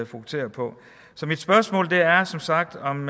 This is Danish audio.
fokusere på så mit spørgsmål er som sagt om